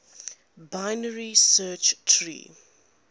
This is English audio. binary search tree